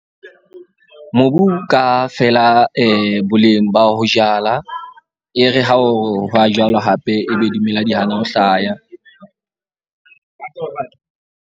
Mobu ka feela boleng ba ho jala, e re ha o wa jalwa hape, ebe dimela di hana ho hlaya.